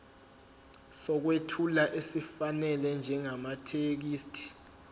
sokwethula esifanele njengamathekisthi